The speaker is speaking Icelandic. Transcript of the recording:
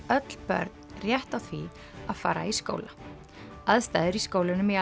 öll börn rétt á því að fara í skóla aðstæður í skólunum í